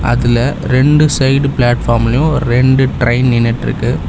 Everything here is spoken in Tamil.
அதுல ரெண்டு சைடு பிளாட்ஃபார்ம்லயு ரெண்டு ட்ரைன் நின்னுட்ருக்கு.